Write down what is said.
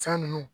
Fɛn ninnu